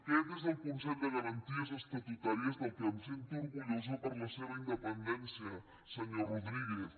aquest és el consell de garanties estatutàries del qual em sento orgullosa per la seva independència senyor rodríguez